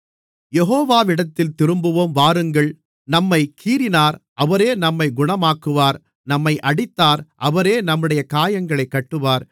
யெகோவாவிடத்தில் திரும்புவோம் வாருங்கள் நம்மைக் கீறினார் அவரே நம்மைக் குணமாக்குவார் நம்மை அடித்தார் அவரே நம்முடைய காயங்களைக் கட்டுவார்